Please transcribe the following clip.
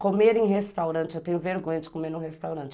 Comer em restaurante, eu tenho vergonha de comer no restaurante.